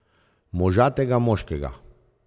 Možatega moškega.